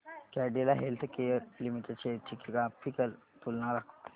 Cadila healthcare limited shares ची graphical तुलना दाखव